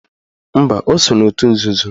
Mba, o so n'otu nzuzo